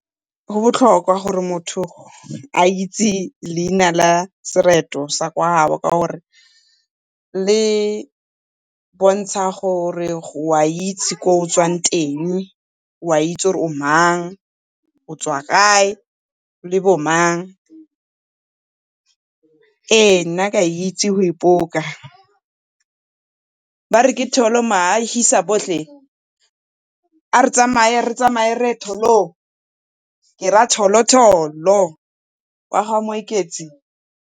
Go botlhokwa gore motho a itse leina la sereto sa kwa gabo ka gore le botsha gore o a itsi ko o tswang teng, o a itsi gore o mang, o tswa kae le bo mang. Ee, nna ke a itsi go ipoka, bare ke tholo ma ahisa bohle a re tsamaye, re tsamaye re ye tholong, ke ra tholo tholo wa ga moeketsi.